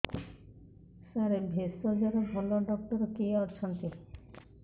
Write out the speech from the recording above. ସାର ଭେଷଜର ଭଲ ଡକ୍ଟର କିଏ ଅଛନ୍ତି